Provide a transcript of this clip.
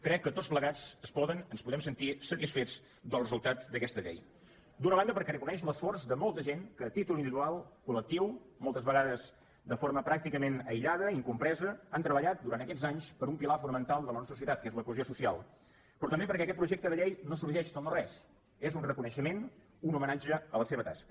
crec que tots plegats es poden ens podem sentir satisfets del resultat d’aquesta llei d’una banda perquè reconeix l’esforç de molta gent que a títol individual col·lectiu moltes vegades de forma pràcticament aïllada incompresa ha treballat durant aquests anys per un pilar fonamental de la nostra societat que és la cohesió social però també perquè aquest projecte de llei no sorgeix del no res és un reconeixement un homenatge a la seva tasca